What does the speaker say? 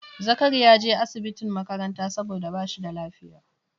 Zakari ya je asibitin makaranta saboda ba shi da lafiya